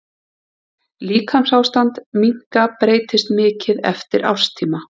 Líkamsástand minka breytist mikið eftir árstíma.